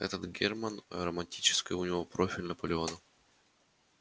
этот германн продолжал романтическое у него профиль наполеона